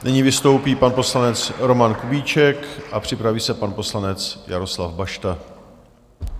Nyní vystoupí pan poslanec Roman Kubíček a připraví se pan poslanec Jaroslav Bašta.